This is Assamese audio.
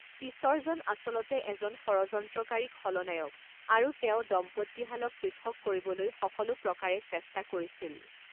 পিছৰজন আচলতে এজন ষড়যন্ত্ৰকাৰী খলনায়ক আৰু তেওঁ দম্পতীহালক পৃথক কৰিবলৈ সকলো প্ৰকাৰে চেষ্টা কৰিছিল।